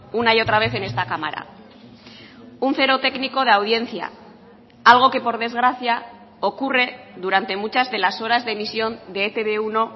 una y otra vez en esta cámara un cero técnico de audiencia algo que por desgracia ocurre durante muchas de las horas de emisión de e te be uno